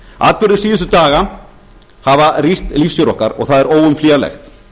atburðir síðustu daga hafa rýrt lífsstíl okkar og það er óumflýjanlegt